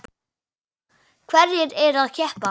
Hverjir eru að keppa?